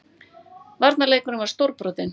Varnarleikurinn var stórbrotinn